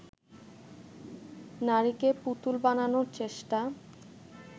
নারীকে পুতুল বানানোর চেষ্টা